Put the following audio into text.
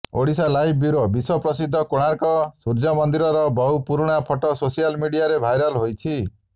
Odisha live bureau ବିଶ୍ୱପ୍ରସିଦ୍ଧ କୋଣାର୍କ ସୂର୍ଯ୍ୟ ମନ୍ଦିରର ବହୁ ପୁରୁଣା ଫଟୋ ସୋସିଆଲ ମିଡିଆରେ ଭାଇରାଲ ହୋଇଛି